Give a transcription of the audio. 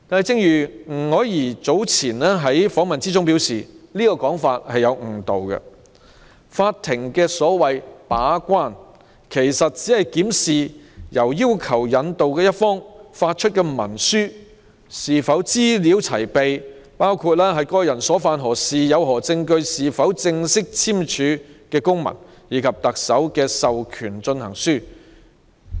正如吳靄儀女士早前表示，這個說法有誤導作用，所謂"把關"，法庭只是檢視由要求引渡一方發出的文書是否資料齊備，包括當事人所犯何事、有何證據、有否正式簽署的公文，以及特首簽署的授權進行書。